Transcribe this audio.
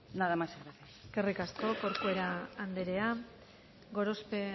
nada más y gracias eskerrik asko corcuera anderea gorospe